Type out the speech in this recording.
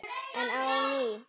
Enn á ný